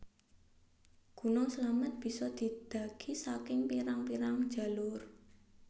Gunung Slamet bisa didhaki saking pirang pirang jalur